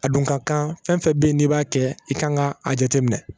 A dun ka kan fɛn fɛn bɛ yen n'i b'a kɛ i kan ka a jateminɛ